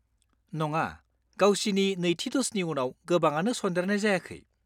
नङा, गावसिनि नैथि द'जनि उनाव गोबांआनो सन्देरनाय जायाखै।